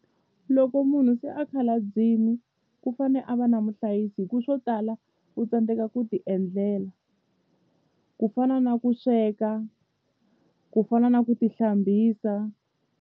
Loko munhu se a khalabyini ku fane a va na muhlayisi hi ku swo tala u tsandzeka ku ti endlela ku fana na ku sweka ku fana na ku ti hlambisa.